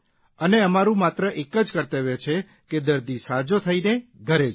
અને અમારૂં માત્ર એક જ કર્તવ્ય છે કે દર્દી સાજો થઇને ઘરે જાય